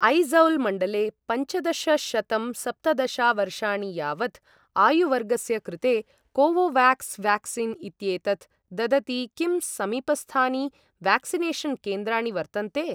ऐज़ौल् मण्डले पञ्चदशशतं सप्तदशा वर्षाणि यावत् आयुवर्गस्य कृते कोवोवाक्स् व्याक्सीन् इत्येतत् ददति किं समीपस्थानि व्याक्सिनेषन् केन्द्राणि वर्तन्ते?